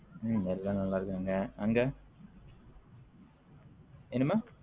உம் எல்லாம் நல்ல இருகாங்க அங்க என்னமா